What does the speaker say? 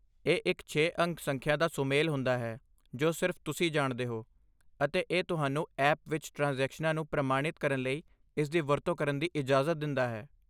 ਇਹ ਇੱਕ ਛੇ ਅੰਕ ਸੰਖਿਆ ਦਾ ਸੁਮੇਲ ਹੁੰਦਾ ਹੈ ਜੋ ਸਿਰਫ਼ ਤੁਸੀਂ ਜਾਣਦੇ ਹੋ, ਅਤੇ ਇਹ ਤੁਹਾਨੂੰ ਐਪ ਵਿੱਚ ਟ੍ਰਾਂਜੈਕਸ਼ਨਾਂ ਨੂੰ ਪ੍ਰਮਾਣਿਤ ਕਰਨ ਲਈ ਇਸਦੀ ਵਰਤੋਂ ਕਰਨ ਦੀ ਇਜਾਜ਼ਤ ਦਿੰਦਾ ਹੈ